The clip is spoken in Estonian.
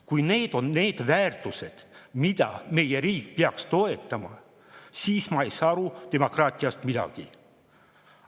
Kui need on need väärtused, mida meie riik peaks toetama, siis ma ei saa demokraatiast midagi aru.